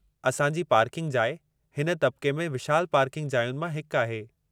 असां जी पार्किंग जाइ हिन तबक़े में विशालु पार्किंग जायुनि मां हिकु आहे।